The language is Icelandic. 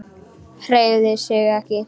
Hreyfði sig ekki.